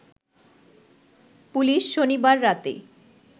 police শনিবার রাতে